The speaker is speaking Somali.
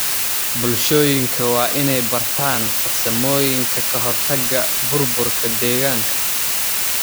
Bulshooyinka waa inay bartaan farsamooyinka ka hortagga burburka deegaanka.